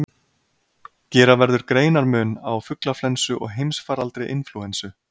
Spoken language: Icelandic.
Gera verður greinarmun á fuglaflensu og heimsfaraldri inflúensu.